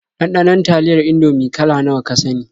Ɗanɗanon taliyar Indomie kala nawa ka sani?